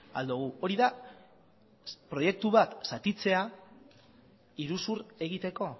al dugu hori da proiektu bat zatitzea iruzur egiteko